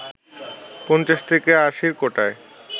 ৫০ থেকে আশির কোটায়